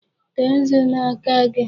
Tee nzu n'aka gị!